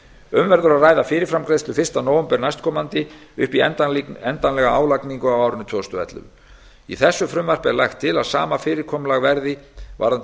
um verður að ræða fyrirframgreiðslu fyrsta nóvember næstkomandi upp í endanlega álagningu á árinu tvö þúsund og ellefu í þessu frumvarpi er lagt til að sama fyrirkomulag verði varðandi